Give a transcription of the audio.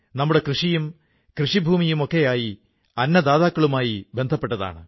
നമ്മുടെ രാജ്യം പ്രതിഭാശാലികളായ ജനങ്ങളെക്കൊണ്ട് നിറഞ്ഞതാണ്